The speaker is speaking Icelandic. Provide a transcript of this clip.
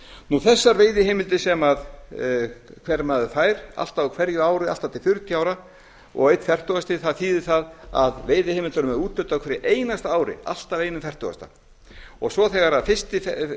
um þessar veiðiheimildir sem hver maður fær alltaf á hverju ári allt að því til fjörutíu ára og einn fertugasti þýðir það að veiðiheimildum er úthlutað á hverju einasta ári alltaf einn fjörutíu þegar svo fyrsti